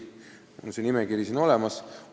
Mul on see nimekiri siin olemas.